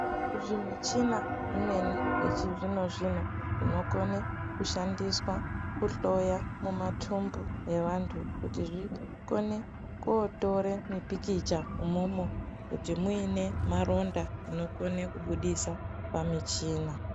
Zvimuchina zvimweni zvechizvino zvino zvinokone kushandiswa kuhloya mumatumbu evandu kuti zvikone kotora mipikicha umomo kuti muine maronda inokone kubudisa pamuchina.